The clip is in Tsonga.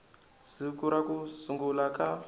siku ra ku sungula ka